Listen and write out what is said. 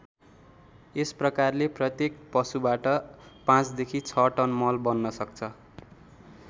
यस प्रकारले प्रत्येक पशुबाट ५ देखि ६ टन मल बन्न सक्छ।